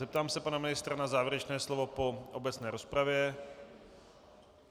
Zeptám se pana ministra na závěrečné slovo po obecné rozpravě.